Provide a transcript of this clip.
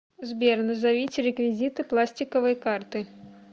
сбер назовите реквизиты пластиковые карты